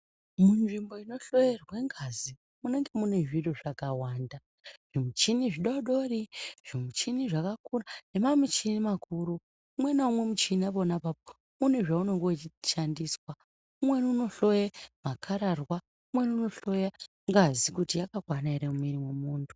Munzvimbo inohloerwe ngazi munenge mune zviro zvakawanda. Zvimichini zvidodori zvimichini zvakakura ne mamichini makuru. Umwe naumwe muchini pona apapo unezvaunenge vechishandiswa. Umweni unohloye makararwa umeni unohloye ngazi kuti yakakwana ere mumwiri memuntu.